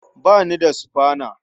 Ba ni da sufana.